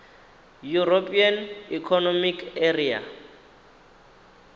european economic area